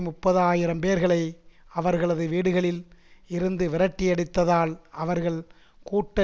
முப்பது ஆயிரம் பேர்களை அவர்களது வீடுகளில் இருந்து விரட்டியடித்ததால் அவர்கள் கூட்ட